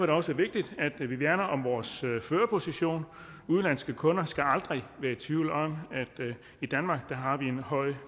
det også vigtigt at vi værner om vores førerposition udenlandske kunder skal aldrig være i tvivl om at vi i danmark har en høj